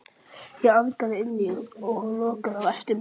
Ég arkaði inn og lokaði á eftir mér.